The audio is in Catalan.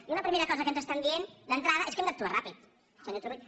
i una primera cosa que ens estan dient d’entrada és que hem d’actuar ràpid senyor turull